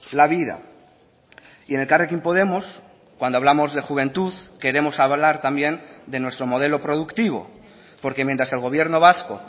la vida y en elkarrekin podemos cuando hablamos de juventud queremos hablar también de nuestro modelo productivo porque mientras el gobierno vasco